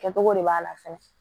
Kɛcogo de b'a la fɛnɛ